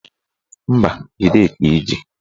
Mba, jide ka iji